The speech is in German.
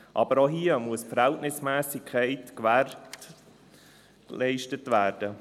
– Auch hier muss die Verhältnismässigkeit gewährleistet werden.